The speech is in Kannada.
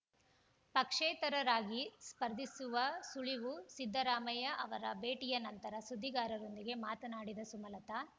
ಪಕ್ಷೇತರರಾಗಿ ಸ್ಪರ್ಧಿಸುವ ಸುಳಿವು ಸಿದ್ದರಾಮಯ್ಯ ಅವರ ಭೇಟಿಯ ನಂತರ ಸುದ್ದಿಗಾರರೊಂದಿಗೆ ಮಾತನಾಡಿದ ಸುಮಲತಾ